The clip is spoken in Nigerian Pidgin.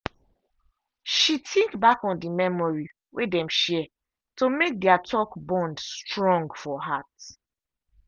she think back on the memories wey dem share to make their talk bond strong for heart.